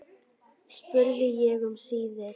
spurði ég um síðir.